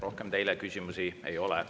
Rohkem teile küsimusi ei ole.